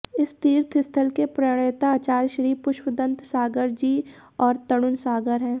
इस तीर्थस्थल के प्रणेता आचार्य श्री पुष्पदंतसागरजी और तरुणसागर हैं